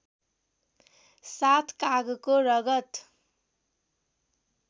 साथ कागको रगत